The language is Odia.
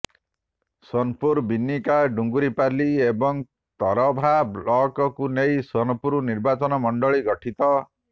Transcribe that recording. ସୋନପୁର ବିନିକା ଡୁଙ୍ଗୁରିପାଲି ଏବଂ ତରଭା ବ୍ଳକକୁ ନେଇ ସୋନପୁର ନିର୍ବାଚନ ମଣ୍ଡଲୀ ଗଠିତ